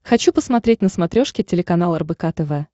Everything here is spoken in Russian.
хочу посмотреть на смотрешке телеканал рбк тв